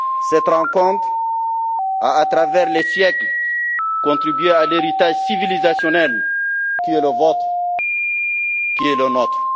Cette rencontre a, à travers les siècles, contribué à l'héritage civilisationnel qui est le vôtre, qui est le nôtre.